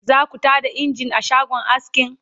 zaku Tada engine a shagon askin?